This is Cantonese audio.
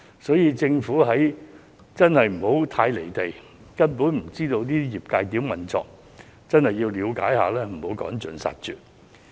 所以，政府真的不應該太離地，以致不知道業界如何運作，政府真的要了解一下，不要把他們趕盡殺絕。